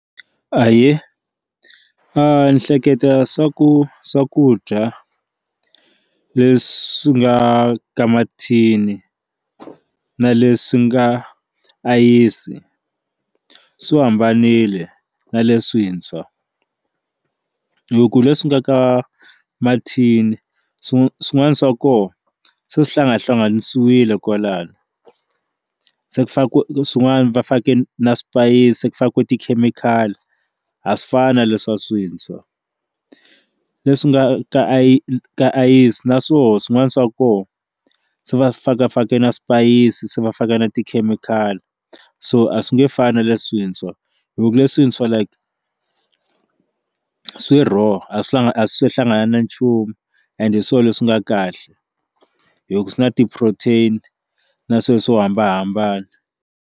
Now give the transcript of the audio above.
Ahee ni hleketa swa ku swakudya leswi nga ka mathini na leswi nga ayisi swi hambanile na leswintshwa hi ku leswi nga ka mathini swin'we swin'wana swa kona se swi hlangahlanganisiwile kwalano se ku fa ku swin'wana va fake na swipayisisi ku fane ku tikhemikhali a swi fana leswa swintshwa leswi nga ka a i ka ayisi naswona swin'wana swa kona se va faka na swipayisisi se va faka na tikhemikhali so a swi nge fani na leswintshwa hi ku leswi swintshwa like swi raw a swi a swi hlangana na nchumu and hi swona leswi nga kahle hi ku swi na ti-protein na swilo swo hambanahambana.